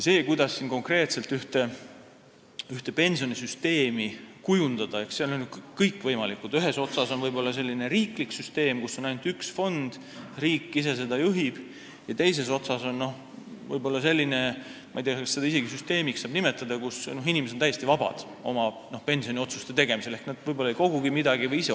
Kuidas konkreetselt pensionisüsteemi kujundada, eks siin on kõik võimalik – ühes otsas võib olla selline riiklik süsteem, kus on ainult üks fond ja riik ise seda juhib, teises otsas võib olla selline süsteem – ma ei tea, kas seda isegi saab süsteemiks nimetada –, kus inimesed on täiesti vabad oma pensioniotsuste tegemisel ehk nad ise otsustavad, kas üldse midagi koguda.